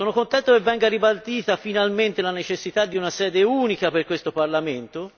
Sono lieto che venga ribadita finalmente la necessità di una sede unica per questo Parlamento.